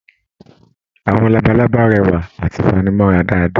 Àwọn labalábá rẹwa àti fanimọra dáadáa.